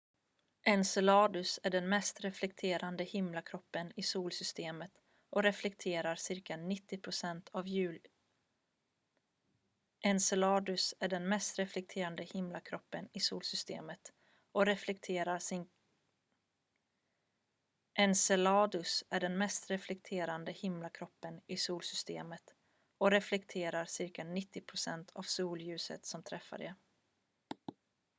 enceladus är den mest reflekterande himlakroppen i solsystemet och reflekterar cirka 90 procent av solljuset som träffar det